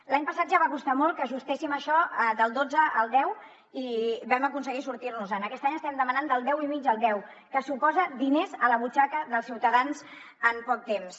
l’any passat ja va costar molt que ajustéssim això del dotze al deu i vam aconseguir sortir nos en aquest any estem demanant del deu i mig al deu que suposa diners a la butxaca dels ciutadans en poc temps